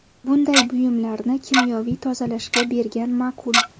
Bunday buyumlarni kimyoviy tozalashga bergan ma’qul.